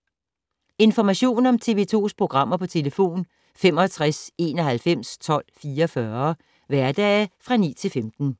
Information om TV 2's programmer: 65 91 12 44, hverdage 9-15.